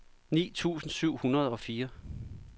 ni tusind syv hundrede og fire